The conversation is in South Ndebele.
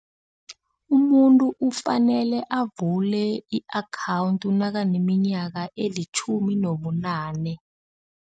Umuntu ufanele avule i-akhawundi nakaneminyaka elitjhumi nobunane.